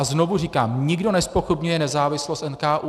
A znovu říkám, nikdo nezpochybňuje nezávislost NKÚ.